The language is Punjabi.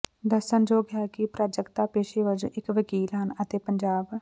ਦੱਸਣਯੋਗ ਹੈ ਕਿ ਪ੍ਰਾਜਕਤਾ ਪੇਸ਼ੇ ਵਜੋਂ ਇਕ ਵਕੀਲ ਹਨ ਅਤੇ ਪੰਜਾਬ